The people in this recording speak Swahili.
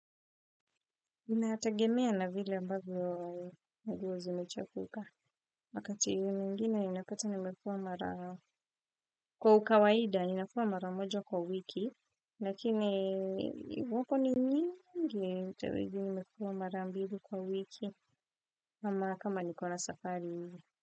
Inaategemea na vile ambavyo nguo zimechafuka. Wakati mwingine inapata nimefuwa mara kwa ukawaida ninafuwa mara moja kwa wiki. Lakini wako ni nyingi mtawezi nimefuwa mara ambili kwa wiki ama kama niko na safari.